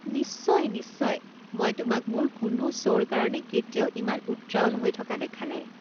নিশ্চয় নিশ্চয়, মই তোমাক মোৰ কোনো শ্ব'ৰ কাৰণে কেতিয়াও ইমান উত্ৰাৱল হৈ থকা দেখা নাই!